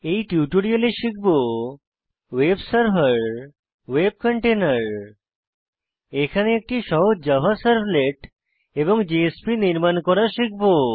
এই টিউটোরিয়ালে শিখব ভেব সার্ভার সার্ভার ভেব কন্টেইনের কন্টেনার এখানে একটি সহজ জাভা সার্ভলেট এবং জেএসপি নির্মান করা শিখব